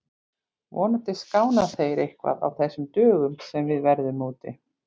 Vonandi skána þeir eitthvað á þessum dögum sem við verðum úti.